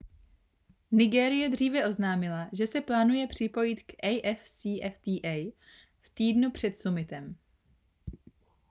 nigérie dříve oznámila že se plánuje připojit k afcfta v týdnu před summitem